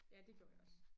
Ja det gjorde jeg også